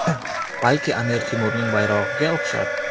Balki Amir Temurning bayrog‘iga o‘xshar?